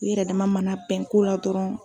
U yɛrɛ dama mana bɛn ko la dɔrɔn.